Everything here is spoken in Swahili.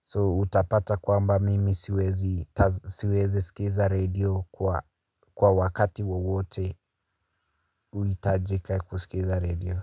So utapata kwamba mimi siwezi siwezi sikiza redio kwa wakati wowote uitajika kusikiza redio.